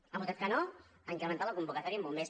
han votat que no a incrementar la convocatòria en bombers